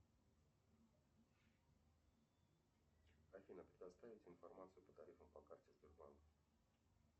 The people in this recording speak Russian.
афина предоставить информацию по тарифам по карте сбербанк